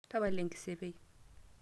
tapala enkisepei